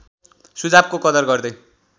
सुझावको कदर गर्दै